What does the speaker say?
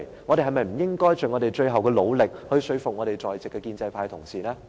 我們是否不應該盡最後努力說服在席的建制派同事？